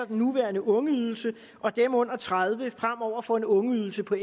den nuværende ungeydelse og at dem under tredive fremover får en ungeydelse på